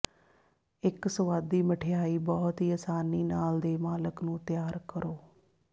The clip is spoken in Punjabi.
ਇੱਕ ਸੁਆਦੀ ਮਿਠਆਈ ਬਹੁਤ ਹੀ ਆਸਾਨੀ ਨਾਲ ਦੇ ਮਾਲਕ ਨੂੰ ਤਿਆਰ ਕਰੋ